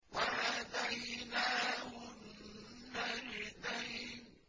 وَهَدَيْنَاهُ النَّجْدَيْنِ